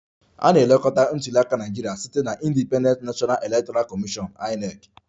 A na-elekọta ntuli aka na Naịjirịa site na Independent National Electoral Commission (INEC)